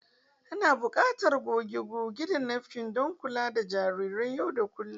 Ana buƙatar goge-goge da napkins don kula da jarirai yau da kullun.